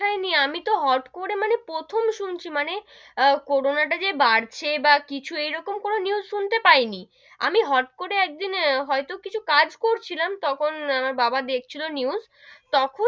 দেখায় নি, আমি তো হট করে মানে প্রথম শুনছি মানে আহ করোনা টা যে বাড়ছে বা কিছু এরকম কোনো news শুনতে পাই নি, আমি হট করে একদিন হয়তো কিছু কাজ করছিলাম তখন আমার বাবা দেখছিলো news তখন,